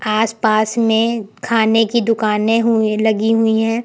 आसपास में खाने की दुकानें हुई लगी हुईं है।